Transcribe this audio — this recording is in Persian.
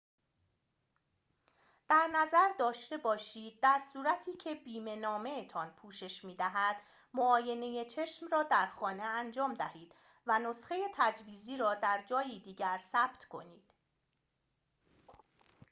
در نظر داشته باشید در صورتی که بیمه‌نامه‌تان پوشش می‌دهد معاینه چشم را در خانه انجام دهید و نسخه تجویزی را در جایی دیگر ثبت کنید